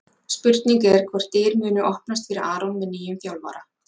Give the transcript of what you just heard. Spurning er hvort dyr muni opnast fyrir Aron með nýjum þjálfara?